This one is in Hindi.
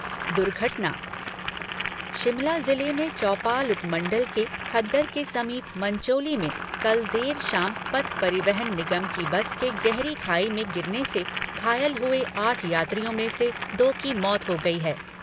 दुर्घटना शिमला ज़िले में चौपाल उपमंडल के खद्दर के समीप मंचोली में कल देर शाम पथ परिवहन निगम की बस के गहरी खाई में गिरने से घायल हुए आठ यात्रियों में से दो की मौत हो गई है।